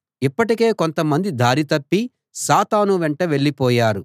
ఇప్పటికే కొంతమంది దారి తప్పి సాతాను వెంట వెళ్ళిపోయారు